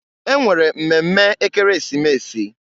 E nwere mmemme Ekeresimesi.